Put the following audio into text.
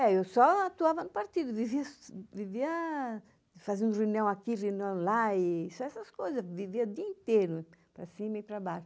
É, eu só atuava no partido, vivia, fazia um ruinão aqui, ruinão lá, só essas coisas, vivia o dia inteiro para cima e para baixo.